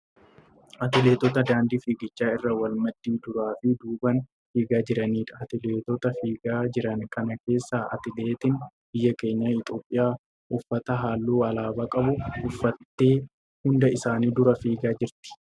Atileetota daandii fiigichaa irra wal maddii duraa fi duubaan fiigaa jiraniidha. Atileetota fiigaa jiran kana keessaa atileetiin biyya keenyaa Itiyoopiyaa uffata halluu alaabaa qabu uffattee hunda isaanii dura fiigaa jirt.